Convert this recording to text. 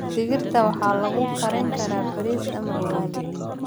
Digirta waxaa lagu kari karaa bariis ama ugali.